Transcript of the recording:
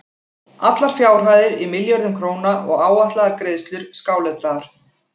Allar fjárhæðir í milljörðum króna og áætlaðar greiðslur skáletraðar.